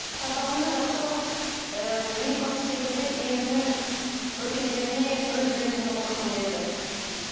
сабағымды жақсы оқып елбасы секілді елімнің өркендеуіне өз үлесімді қосқым келеді